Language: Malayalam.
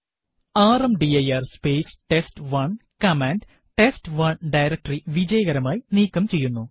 rmdir space test one command test one directory വിജയകരമായി നീക്കം ചെയ്യുന്നു